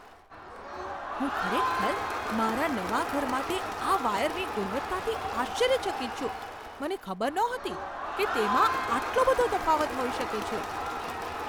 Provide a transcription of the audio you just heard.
હું ખરેખર મારા નવા ઘર માટે આ વાયરની ગુણવત્તાથી આશ્ચર્યચકિત છું. મને ખબર નહોતી કે તેમાં આટલો બધો તફાવત હોઈ શકે છે!